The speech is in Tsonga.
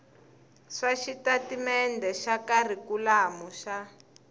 swa xitatimendhe xa kharikhulamu xa